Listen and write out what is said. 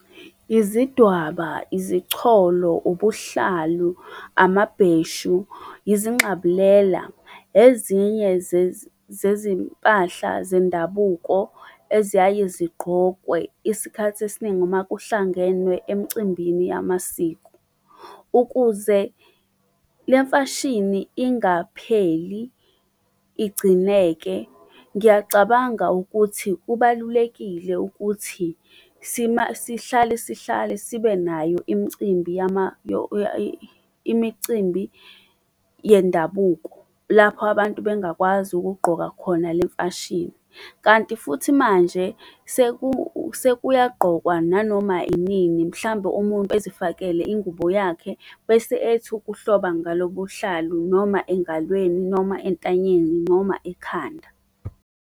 Izidwaba, izicholo, ubuhlalu, amabheshu, izingxabulela, ezinye zezimpahla zendabuko eziyaye zigqokwe isikhathi esiningi uma kuhlangenwe emcimbini yamasiko. Ukuze le mfashini ingapheli igcineke, ngiyacabanga ukuthi kubalulekile ukuthi sihlale sihlale sibenayo imicimbi imicimbi yendabuko lapho abantu bangakwazi ukugqoka khona le mfashini. Kanti futhi manje sekuyagqokwa nanoma inini mhlambe umuntu ezifakele ingubo yakhe bese ethi ukuhloba ngalo buhlalu noma engalweni, noma entanyeni, noma ekhanda.